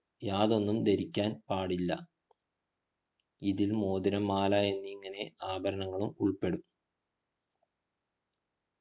യാതൊന്നും ധരിക്കാൻ പാടില്ല പാടില്ല ഇതിൽ മോതിരം മാല എന്നിങ്ങനെ ആഭരണങ്ങളും ഉൾപെടും